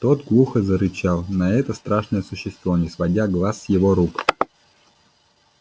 тот глухо зарычал на это страшное существо не сводя глаз с его рук